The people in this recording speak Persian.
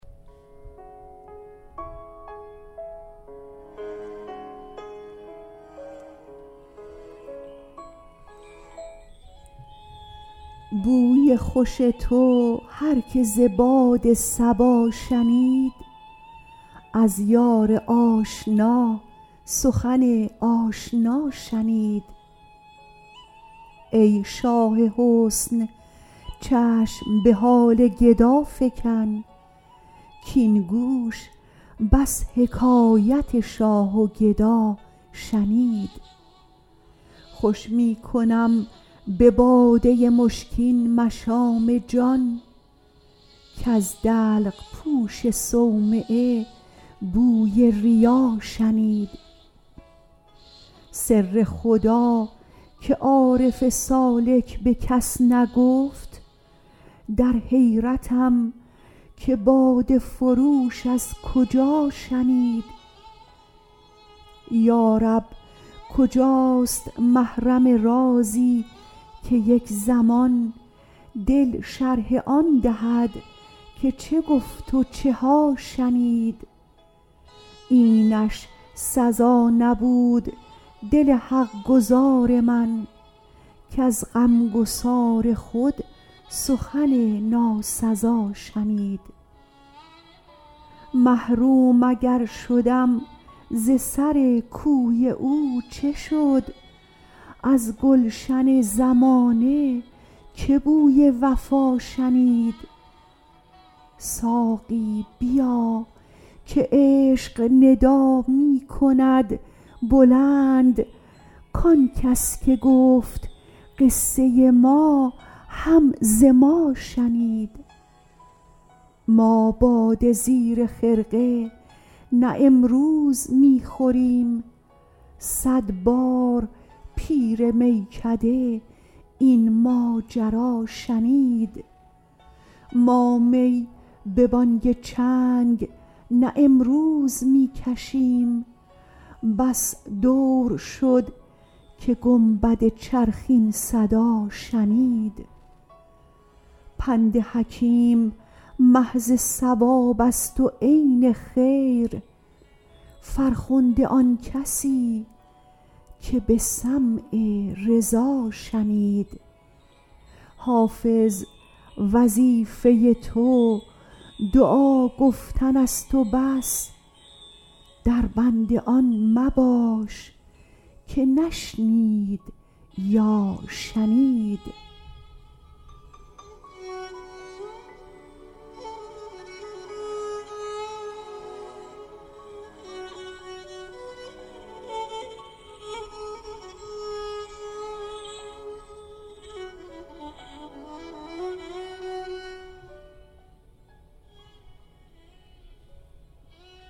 بوی خوش تو هر که ز باد صبا شنید از یار آشنا سخن آشنا شنید ای شاه حسن چشم به حال گدا فکن کـاین گوش بس حکایت شاه و گدا شنید خوش می کنم به باده مشکین مشام جان کز دلق پوش صومعه بوی ریا شنید سر خدا که عارف سالک به کس نگفت در حیرتم که باده فروش از کجا شنید یا رب کجاست محرم رازی که یک زمان دل شرح آن دهد که چه گفت و چه ها شنید اینش سزا نبود دل حق گزار من کز غمگسار خود سخن ناسزا شنید محروم اگر شدم ز سر کوی او چه شد از گلشن زمانه که بوی وفا شنید ساقی بیا که عشق ندا می کند بلند کان کس که گفت قصه ما هم ز ما شنید ما باده زیر خرقه نه امروز می خوریم صد بار پیر میکده این ماجرا شنید ما می به بانگ چنگ نه امروز می کشیم بس دور شد که گنبد چرخ این صدا شنید پند حکیم محض صواب است و عین خیر فرخنده آن کسی که به سمع رضا شنید حافظ وظیفه تو دعا گفتن است و بس در بند آن مباش که نشنید یا شنید